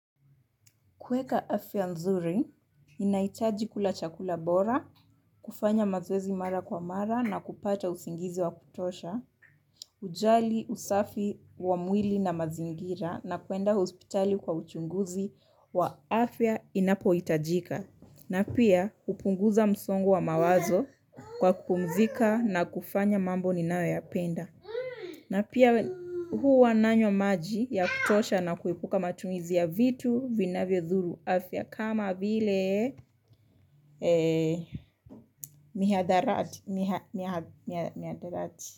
Kuweka afya nzuri, ninaitaji kula chakula bora, kufanya mazoezi mara kwa mara na kupata usingizi wa kutosha hujali usafi wa mwili na mazingira na kwenda hospitali kwa uchunguzi wa afya inapo hitajika. Na pia hupunguza msongo wa mawazo kwa kupumzika na kufanya mambo ninayo yapenda. Na pia huwa nanywa maji ya kutosha na kuepuka matumizi ya vitu vinavyo dhuru afya kama vile mihadarati.